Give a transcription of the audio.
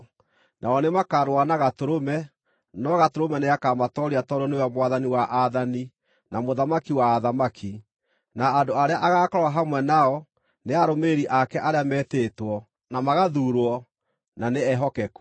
Nao nĩmakarũa na Gatũrũme, no Gatũrũme nĩakamatooria tondũ nĩwe Mwathani wa aathani, na Mũthamaki wa athamaki, na andũ arĩa agaakorwo hamwe nao nĩ arũmĩrĩri ake arĩa metĩtwo, na magathuurwo, na nĩ ehokeku.”